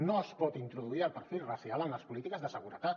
no es pot introduir el perfil racial en les polítiques de seguretat